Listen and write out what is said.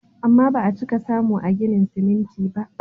Amma ba a fiye samu a ginin siminti ba.